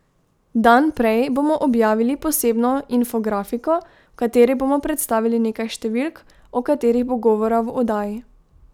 Dan prej bomo objavili posebno infografiko, v kateri bomo predstavili nekaj številk, o katerih bo govora v oddaji.